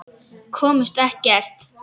Komust ekkert.